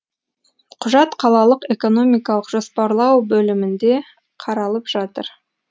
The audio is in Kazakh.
құжат қалалық экономикалық жоспарлау бөлімінде қаралып жатыр